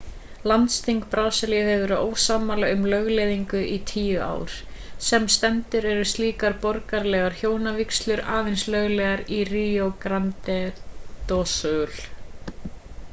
landsþing brasilíu hefur verið ósammála um lögleiðingu í 10 ár sem stendur eru slíkar borgaralegar hjónavígslur aðeins löglegar í rio grande do sul